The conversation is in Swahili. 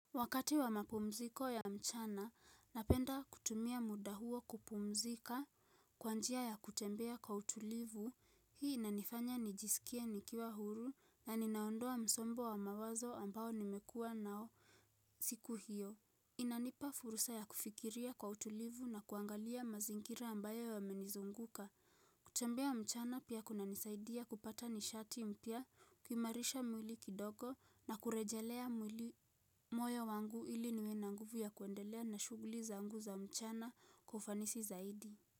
Wakati wa mapumziko ya mchana, napenda kutumia muda huo kupumzika kwa njia ya kutembea kwa utulivu, hii inanifanya nijisikia nikiwa huru na ninaondoa msongo wa mawazo ambao nimekua nao siku hiyo. Inanipa furusa ya kufikiria kwa utulivu na kuangalia mazingira ambayo yamenizunguka kutembea mchana pia kuna nisaidia kupata nishati mpya, kuimarisha mwili kidogo na kurejelea mwili moyo wangu ili niwe na nguvu ya kuendelea na shughuli zangu za mchana kufanisi zaidi.